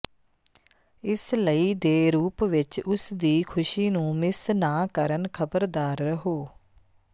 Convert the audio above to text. ਇਸ ਲਈ ਦੇ ਰੂਪ ਵਿੱਚ ਉਸ ਦੀ ਖੁਸ਼ੀ ਨੂੰ ਮਿਸ ਨਾ ਕਰਨ ਖਬਰਦਾਰ ਰਹੋ